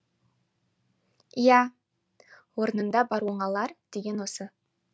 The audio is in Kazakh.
иә орнында бар оңалар деген осы